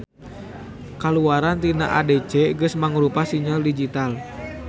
Kaluaran tina ADC geus mangrupa sinyal digital.